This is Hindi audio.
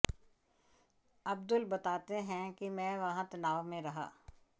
अब्दुल बताते हैं कि मैं वहां तनाव में रहा